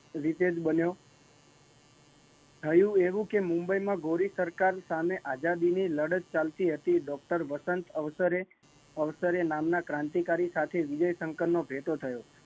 વિજય બન્યો, થયું એવું કે મુંબઈ માં ગોરિસરકાર સામે આઝાદી ની લડત ચાલતી હતી આવા પ્રસંગે અવસરે ક્રાંતિકારી નામ નો ભેટો થયો